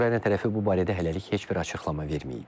Ukrayna tərəfi bu barədə hələlik heç bir açıqlama verməyib.